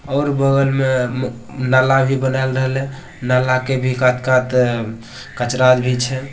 और बगल में म नाला ही बना राहले नाला के भी काट-काट कचरा भी छे ।